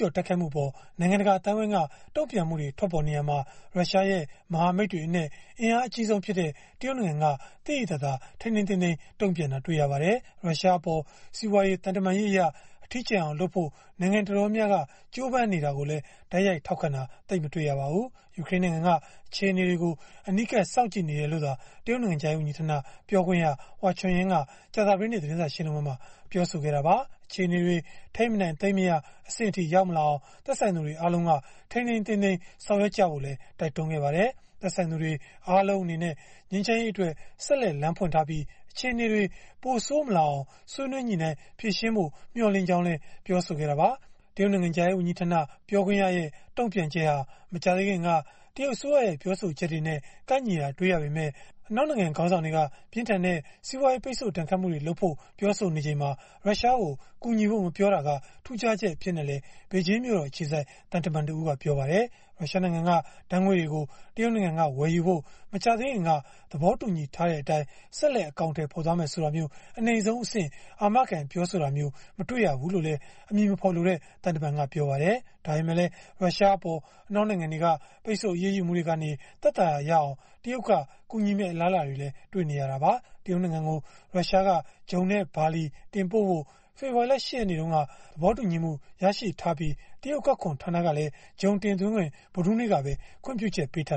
ျော်တိုက်ခိုက်မှုအပေါ် နိုင်ငံတကာ အသိုင်းအဝန်းက တုံ့ပြန်မှုတွေ ထွက်ပေါ်နေရာမှာ ရုရှားရဲ့ မဟာမိတ်တွေအနက် အင်အားအကြီးဆုံးဖြစ်တဲ့ တရုတ်နိုင်ငံက သိသိသာသာ ထိန်းထိန်းသိမ်းသိမ်း တုံ့ပြန်တာတွေ့ရပါတယ်။ ရုရှားအပေါ် စီးပွားရေး၊ သံတမန်ရေးအရ အထီးကျန်အောင်လုပ်ဖို့ နိုင်ငံတော်တော်များများက ကြိုးပမ်းနေတာကိုလည်း တိုက်ရိုက်ထောက်ခံတာ သိပ်မတွေ့ရပါဘူး။ ယူကရိန်းနိုင်ငံက အခြေအနေတွေကို အနီးကပ် စောင့်ကြည့်နေတယ်လို့သာ တရုတ်နိုင်ငံခြားရေးဝန်ကြီးဌာန ပြောခွင့်ရ Hua Chunying က ကြာသပတေးနေ့ သတင်းစာ ရှင်းလင်းပွဲမှာ ပြောဆိုခဲ့တာပါ။ အခြေအနေတွေ ထိန်းမနိုင်သိမ်းမရ အဆင့်မရောက်အောင် သက်ဆိုင်သူတွေ အားလုံးက ထိန်းထိန်းသိမ်းသိမ်း ဆောင်ရွက်ကြဖို့လည်း တိုက်တွန်းခဲ့ပါတယ်။ သက်ဆိုင်သူတွေ အားလုံးအနေနဲ့ ငြိမ်းချမ်းရေးအတွက် ဆက်လက်လမ်းဖွင့်ထားပြီး၊ အခြေအနေတွေ ပိုဆိုးမလာအောင် ဆွေးနွေးညှိနှိုင်းဖြေရှင်းဖို့ မျှော်လင့်ကြောင်းလည်း ပြောဆိုခဲ့တာပါ။ တရုတ်နိုင်ငံခြားရေးဝန်ကြီးဌာန ပြောခွင့်ရရဲ့ တုံ့ပြန်ချက်ဟာ မကြာသေးခင်က တရုတ်အစိုးရရဲ့ ပြောဆိုချက်တွေနဲ့ ကိုက်ညီတာ တွေ့ရပေမဲ့ အနောက်နိုင်ငံ ခေါင်းဆောင်တွေက ပြင်းထန်တဲ့ စီးပွားရေးပိတ်ဆို့ဒဏ်ခတ်မှုတွေလုပ်ဖို့ ပြောဆိုနေချိန်မှာ ရုရှားကို ကူညီဖို့ မပြောခဲ့တာက ထူးခြားချက်အဖြစ်နဲ့လည်း ဘေဂျင်းမြို့တော် အခြေစိုက် သံတမန်တဦးက ပြောပါတယ်။ ရုရှားနိုင်ငံက ဓာတ်ငွေ့တွေကို တရုတ်နိုင်ငံက ဝယ်ယူဖို့ မကြာသေးခင်က သဘောတူညီထားတဲ့အတိုင်း ဆက်လက် အကောင်အထည်ဖော်သွားမယ် ဆိုတာမျိုး အနိမ့်ဆုံးအဆင့် အာမခံပြောဆိုတာမျိုးလည်း မတွေ့ရဘူးလို့ အမည်မဖော်လိုတဲ့ သံတမန်ကပြောပါတယ်။ ဒါပေမဲ့လည်း ရုရှားအပေါ် အနောက်နိုင်ငံတွေက ပိတ်ဆု့ိအရေးယူမှုတွေက သက်သာရာရအောင် တရုတ်က ကူညီမယ့် အလားအလာတွေလည်း ရှိနေတာပါ။ တရုတ်နိုင်ငံကို ရုရှားက ဂျုံနဲ့ ဘာလီ တင်ပို့ဖို့ ဖေဖော်ဝါရီလ ၈ ရက်နေ့က သဘောတူညီချရရှိထားပြီး တရုတ်အကောက်ခွန်ဌာနကလည်း ဂျုံတင်သွင်းခွင့် ဗုဒ္ဓဟူးနေ့ကပဲ ခွင့်ပြုချက်ပေးထာ